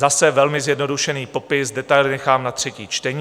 Zase velmi zjednodušený popis, detaily nechám na třetí čtení.